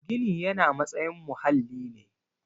Gini yana matsayin muhalli ne